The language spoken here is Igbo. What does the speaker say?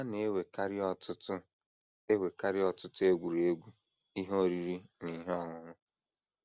“ A na - enwekarị ọtụtụ - enwekarị ọtụtụ egwuregwu, ihe oriri, na ihe ọṅụṅụ.